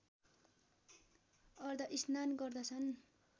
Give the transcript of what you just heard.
अर्धस्नान गर्दछन